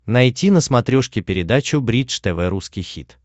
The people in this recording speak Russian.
найти на смотрешке передачу бридж тв русский хит